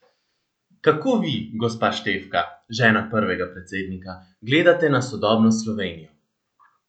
Kako vi, gospa Štefka, žena prvega predsednika, gledate na sodobno Slovenijo?